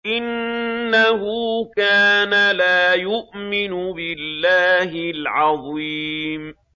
إِنَّهُ كَانَ لَا يُؤْمِنُ بِاللَّهِ الْعَظِيمِ